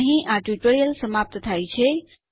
અહીં આ ટ્યુટોરીયલ સમાપ્ત થાય છે